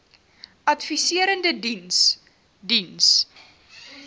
adviserende diens diens